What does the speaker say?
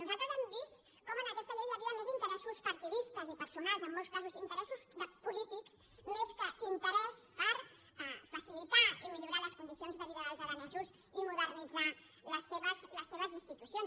nosaltres hem vist com en aquesta llei hi havia més interessos partidistes i personals en molts casos inte·ressos de polítics més que interès per facilitar i millo·rar les condicions de vida dels aranesos i modernitzar les seves institucions